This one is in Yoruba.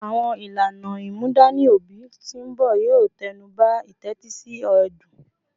Awọn ilana imudani obi ti nbọ yoo tẹnuba itetisi ẹdun